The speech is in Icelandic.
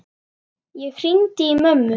Ég hringdi í mömmu.